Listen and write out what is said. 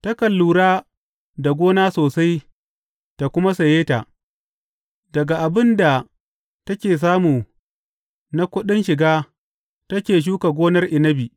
Takan lura da gona sosai ta kuma saye ta; daga abin da take samu na kuɗin shiga take shuka gonar inabi.